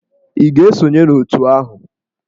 Ị ga-esonye n'òtù ahụ?